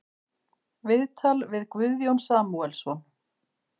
Viðtal við Guðjón Samúelsson